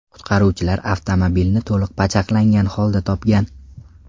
Qutqaruvchilar avtomobilni to‘liq pachaqlangan holda topgan.